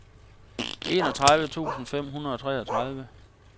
enogtredive tusind fem hundrede og treogtredive